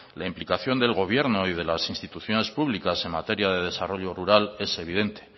la implicación del gobierno y de las instituciones públicas en materia de desarrollo rural es evidente